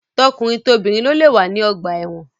Tọkunrin tobìnrin lo lé wà ní ọgbà ẹ̀wọ́n.